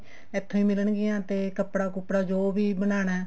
ਇੱਥੋਂ ਹੀ ਮਿਲਣਗੀਆਂ ਤੇ ਕੱਪੜਾ ਕੁੱਪੜਾ ਜੋ ਵੀ ਬਣਾਉਣਾ